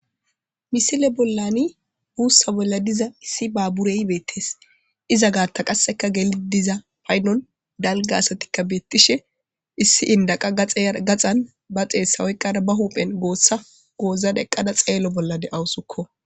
Misile bolani busa bolla diza issi babure betes.iza gata gelidi bishe diza asati paydon dala gidiza asati betishe issi inda qa gaxan eqada ba xesa oyqada ba huphe gosa goxada xelo bolla dawus